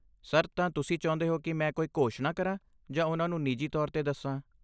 Sir, ਤਾਂ ਤੁਸੀਂ ਚਾਹੁੰਦੇ ਹੋ ਕਿ ਮੈਂ ਕੋਈ ਘੋਸ਼ਣਾ ਕਰਾਂ ਜਾਂ ਉਹਨਾਂ ਨੂੰ ਨਿੱਜੀ ਤੌਰ 'ਤੇ ਦੱਸਾਂ?